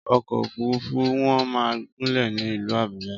Ọkọ̀ òfúrufú wọn máa gúnlè ní ìlú Àbújá.